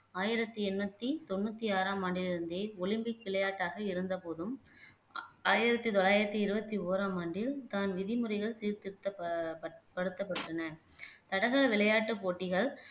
ஆயிரத்தி எண்ணூத்தி தொண்ணூத்தி ஆறாம் ஆண்டில் இருந்தே ஒலிம்பிக் விளையாட்டாக இருந்த போதும் ஆயிரத்தி தொள்ளாயிரத்தி இருபத்தி ஒராம் ஆண்டில் தான் விதிமுறைகள் சீர்திருத்த ப படுத்தப்பட்டன தடகள விளையாட்டுப் போட்டிகள்